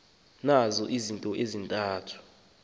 na izinto ezintathu